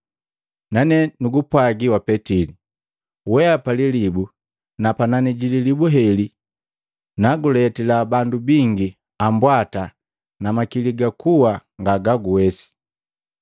Nane nukupwagi wa Petili, weapa lilibu, na panani jililibu hale naguletila bandu bingi ambwata na makili ga kuwa ngagakuwesi.